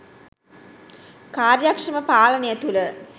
කාර්යක්ෂම පාලනය තුළ